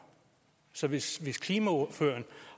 så hvis hvis klimaordføreren